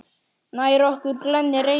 Nær okkur glennir Reykja